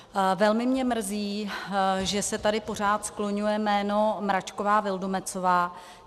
Velmi mě mrzí, že se tady pořád skloňuje jméno Mračková Vildumetzová.